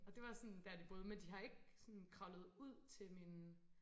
Og det var sådan der de boede men de har ikke sådan kravlet ud til mine